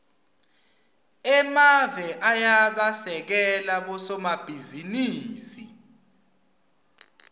emave ayabasekela bosomabhizinisi